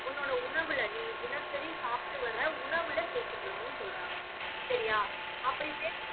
உன்னோட உணவுல, நீ தினசரி சாப்பிட்டு வர உணவுல சேர்த்துக்கணும்னு சொல்றாங்க சரியா அப்பிடி சேர்த்~